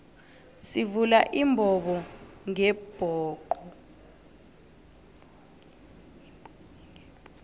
sivula imbobongebhoxo